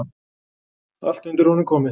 Allt undir honum komið.